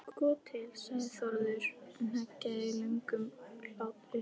Sko til, sagði Þórður og hneggjaði löngum hlátri.